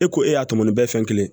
E ko e y'a tɔmɔ bɛɛ fɛn kelen